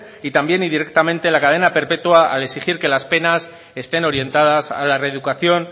y también indirectamente la cadena perpetua al exigir que las penas estén orientadas a la reeducación